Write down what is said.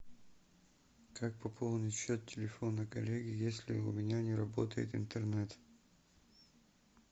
как пополнить счет телефона коллеги если у меня не работает интернет